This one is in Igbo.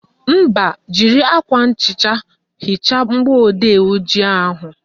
Mba, jiri akwa nhicha hichaa mgbọodee ojii ahụ